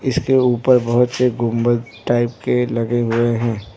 इसके ऊपर बहुत से गुंबद टाइप के लगे हुए हैं।